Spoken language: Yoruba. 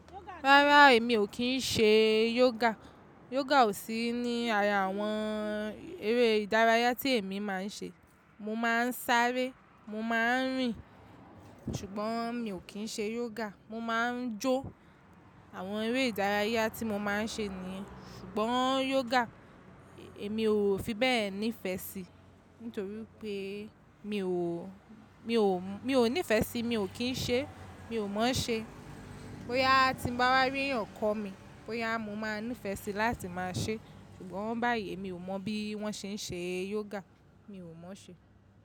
Rárá, èmi ò kí ń ṣe yoga. Yoga ò sí ní ara àwọn eré ìdárayá tí èmi má ń ṣe. Mo má ń sáré, mo má ń rìn, ṣùgbọ́n mi ò kí ń ṣe yoga. Mo má ń jó. Àwọn eré ìdárayá tí mo má ń ṣe niyen, ṣùgbọ́n yoga èmi ò fi bẹ́ẹ̀ nífẹ̀ẹ́ sí, nítorí wipe mi ò, mi ò, mi ò nífẹ̀ẹ́ sí, mi ò kí ń ṣe, mi ò mọ̀ ọ́n ṣe. Bo ya tí ń bá wáré yàn kọ́ mi, bo ya mo máa nífẹ̀ẹ́ sí láti máa ṣe. Ṣùgbọ́n báyìí emi ò mọ bí wọ́n ṣe ń ṣe yoga, mi ò mọ̀ ọ́n ṣe.